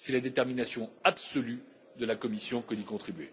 C'est la détermination absolue de la Commission que d'y contribuer.